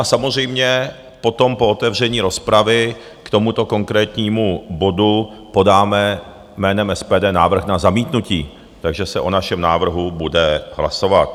A samozřejmě potom po otevření rozpravy k tomuto konkrétnímu bodu podáme jménem SPD návrh na zamítnutí, takže se o našem návrhu bude hlasovat.